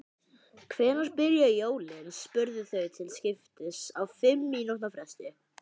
Hvenær byrja jólin? spurðu þau til skiptist á fimm mínútna fresti.